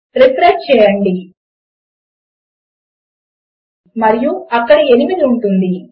refresh చేయండి మరియు అక్కడ 8 ఉంటుంది